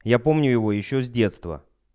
я помню его ещё с детства